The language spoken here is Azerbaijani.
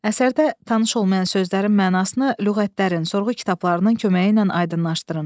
Əsərdə tanış olmayan sözlərin mənasını lüğətlərin, sorğu kitablarının köməyi ilə aydınlaşdırın.